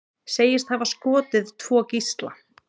Segist hafa skotið tvo gísla